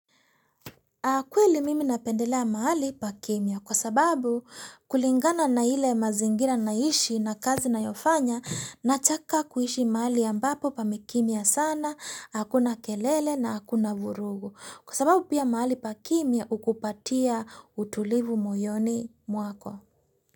Akweli mimi napendelea maali pakimya kwa sababu kulingana na ile mazingira naishi na kazi nayofanya nataka kuishi maali ambapo pamekimya sana, hakuna kelele na hakuna vurugu. Kwa sababu pia maali pakimya hukupatia utulivu mojoni mwako.